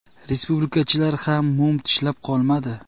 Respublikachilar ham mum tishlab qolmadi.